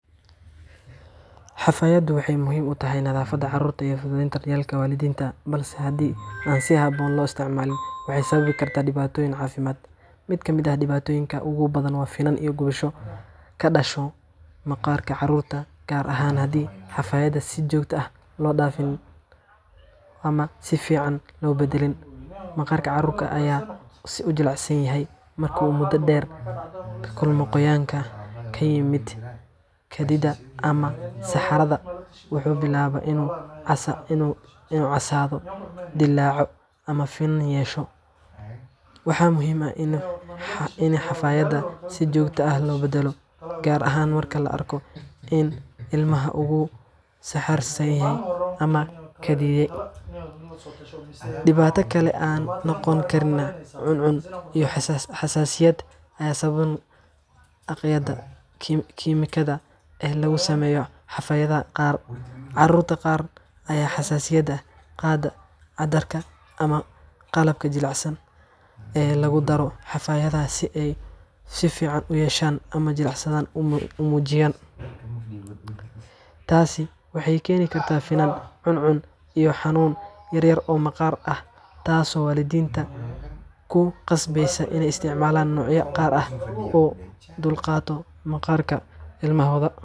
Xafaayaddu waxay muhiim u tahay nadaafadda carruurta iyo fududeynta daryeelka waalidiinta, balse haddii aan si habboon loo isticmaalin, waxay sababi kartaa dhibaatooyin caafimaad. Mid ka mid ah dhibaatooyinka ugu badan waa finan iyo gubasho ka dhasha maqaarka caruurta, gaar ahaan haddii xafaayadda si joogto ah loo dhaafin ama aan si fiican loo beddelin. Maqaarka caruurta aad ayuu u jilicsan yahay, marka uu muddo dheer la kulmo qoyaanka ka yimaada kaadida ama saxarada, wuxuu bilaabaa inuu casaado, dillaaco ama finan yeesho. Waxaa muhiim ah in xafaayadda si joogto ah loo beddelo, gaar ahaan marka la arko in ilmaha uu saxaraystay ama kaadiyay. Dhibaato kale ayaa noqon karta cuncun iyo xasaasiyad ay sababaan agabyada kimikada ah ee lagu sameeyo xafaayadaha qaar. Carruurta qaar ayaa xasaasiyad ka qaada cadarka ama qalabka jilicsan ee lagu daro xafaayadaha si ay ur fiican u yeeshaan ama jilicsanaan u muujiyaan. Taasi waxay keeni kartaa finan, cuncun iyo xanuun yar oo maqaarka ah, taasoo waalidiinta ku qasbeysa inay isticmaalaan noocyo gaar ah oo u dulqaata maqaarka ilmahooda.